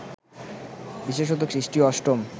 বিশেষত খ্রিস্টীয় অষ্টম